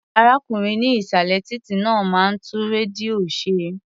Arákùnrin ní ìsàlẹ̀ títí náà máa ń tún rédíò ṣe.